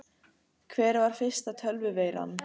Hver var fyrsta tölvuveiran?